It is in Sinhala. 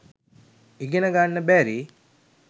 ඉගෙන ගන්න බැරි